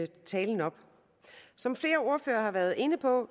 tale op som flere ordførere har været inde på